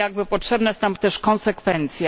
Potrzebna jest nam też konsekwencja.